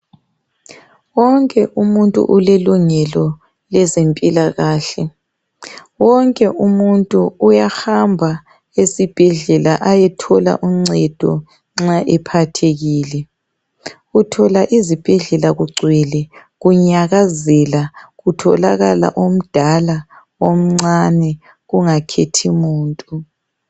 Wonke umuntu ulelungelo lezempilakahle .Wonke umuntu uyahamba esibhedlela ayethola uncedo nxa ephathekile. Uthola ezibhedlella kugcwele kunyakazela, kutholakala omncane, lomdala kungakhethi muntu.